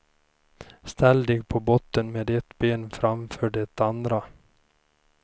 Ställ dig på botten med ett ben framför det andra.